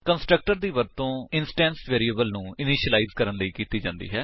org constructor ਦੀ ਵਰਤੋ instance variable ਨੂੰ ਇਨਿਸ਼ਿਲਾਇਜ ਕਰਨ ਲਈ ਕੀਤੀ ਜਾਂਦੀ ਹੈ